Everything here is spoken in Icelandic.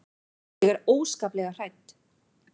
Ég er óskaplega hrædd.